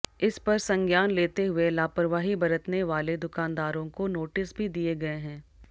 इस पर संज्ञान लेते हुए लापरवाही बरतने वाले दुकानदारों को नोटिस भी दिए गए हैं